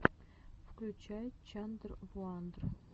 включай чандрвуандр